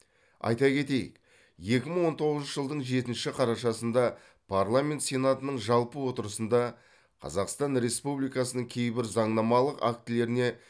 айта кетейік екі мың он тоғызыншы жылдың жетінші қарашасында парламент сенатының жалпы отырысында қазақстан республикасының кейбір заңнамалық актілеріне